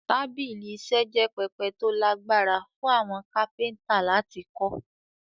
Tábìlì iṣẹ́ jẹ́ pẹpẹ tó lágbára fún àwọn kápẹ́ntà láti kọ́